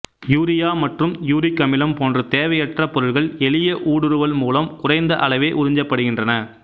urea மற்றும் uric அமிலம் போன்ற தேவையற்ற பொருள்கள் எளிய ஊடுருவல் மூலம் குறைந்த அளவே உறிஞ்சப்படுகின்றன